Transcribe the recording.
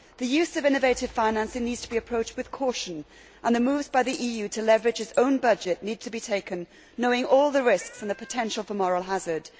The use of innovative financing needs to be approached with caution, and the moves by the EU to leverage its own budget need to be taken into account, knowing all the risks and the potential for moral hazard.